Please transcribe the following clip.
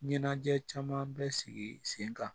Ɲɛnajɛ caman bɛ sigi sen kan